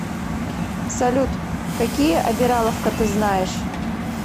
салют какие обираловка ты знаешь